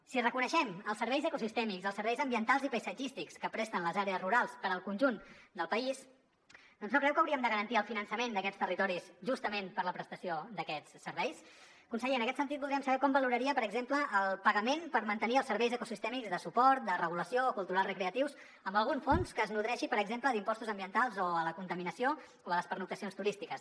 si reconeixem els serveis ecosistèmics els serveis ambientals i paisatgístics que presten les àrees rurals per al conjunt del país doncs no creu que hauríem de garantir el finançament d’aquests territoris justament per la prestació d’aquests serveis conseller en aquest sentit voldríem saber com valoraria per exemple el pagament per mantenir els serveis ecosistèmics de suport de regulació o culturals recreatius amb algun fons que es nodreixi per exemple d’impostos ambientals o a la contaminació o a les pernoctacions turístiques